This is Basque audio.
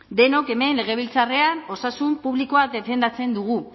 denok hemen legebiltzarrean osasun publikoa defendatzen dugu